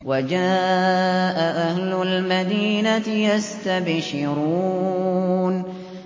وَجَاءَ أَهْلُ الْمَدِينَةِ يَسْتَبْشِرُونَ